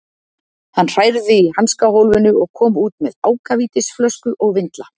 Hann hrærði í hanskahólfinu og kom út með ákavítisflösku og vindla.